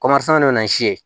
bɛ na ni si ye